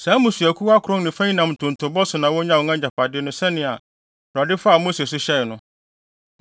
Saa mmusuakuw akron ne fa yi nam ntontobɔ so na wonyaa wɔn agyapade no sɛnea Awurade faa Mose so hyɛe no.